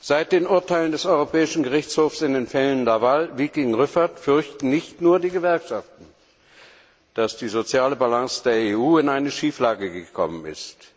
Seit den Urteilen des Europäischen Gerichtshofs in den Fällen Viking, Laval und Rueffert fürchten nicht nur die Gewerkschaften, dass die soziale Balance der EU in eine Schieflage gekommen ist.